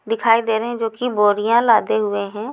दिखाई दे रहे हैं जो कि बोरियाँ लादे हुए हैं।